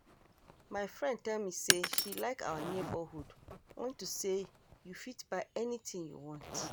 My friend tell me say she like our neighborhood unto say you go fit buy anything you want